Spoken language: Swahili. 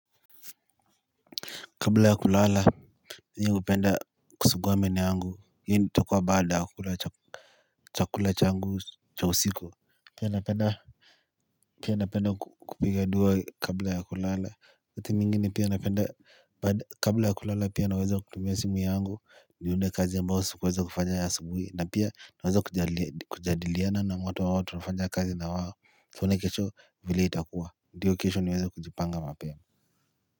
Kabla ya kulala mi hupenda kusugua meno yangu hi ntakua baada ya kula chakula changu cha usiku pia napenda pia napenda kupiga dua kabla ya kulala wakati mingine pia napenda kabla ya kulala pia naweza kutumia simu yangu nione kazi ambao sikuweza kufanya ya asabuhi na pia naweza kujadiliana na watu au watu tunafanya kazi na wao tuone kesho vile itakuwa ndio kesho niweza kujipanga mapema.